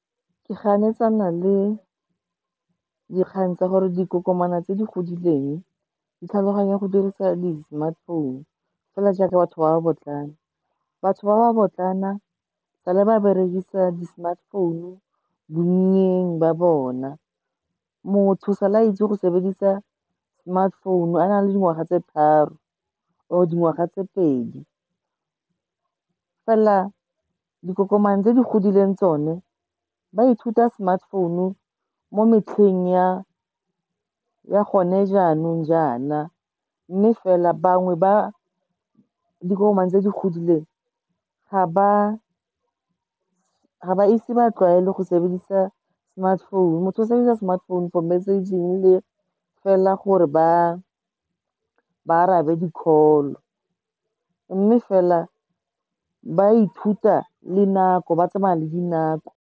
Ke ganetsana le dikgang tsa gore dikokomana tse di godileng, di tlhaloganya go dirisa di-smartphone-u fela jaaka batho ba ba botlana. Batho ba ba botlana, sa le ba berekisa di-smartphone-u bonnyeng ba bona, motho sa la itse go sebedisa smartphone-u a na le dingwaga tse tharo or dingwaga tse pedi, fela dikokomana tse di godileng tsone ba ithuta smartphone-u mo metlheng ya gone jaanong jaana. Mme fela, bangwe ba dikokomane tse di godileng, ga ba ise ba tlwaele go sebedisa smartphone-u, motho o sebedisa smartphone-u for messaging le fela gore ba arabe di-call-o, mme fela ba ithuta le nako, ba tsamaya le dinako.